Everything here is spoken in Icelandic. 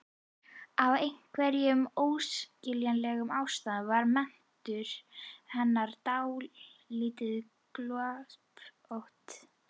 Af einhverjum óskiljanlegum ástæðum var menntun hennar dálítið gloppótt.